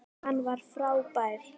Hann var frábær.